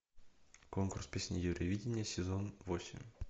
конкурс песни евровидение сезон восемь